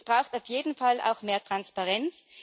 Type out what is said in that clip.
Es braucht auf jeden Fall auch mehr Transparenz.